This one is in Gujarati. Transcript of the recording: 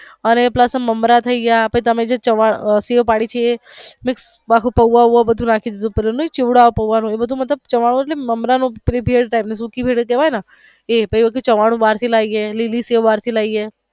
અને પ્લસ મમરા થઈ ગયા પછી તમે જે સેવ પડી છે એ બાકી પૌવા બધું નાખી દીધું પછી નઈ ચેવડો આવતો પૌવા નો એ બધું નાઈ આવતું ચેવડુ મમરા નું ચવાણું મતલબ નાઈ ઓલો સુખી ભેળ type પછી ચવાણું બાર થી લઇ આવી લીલી સેવ બાર થી લઇ આવી.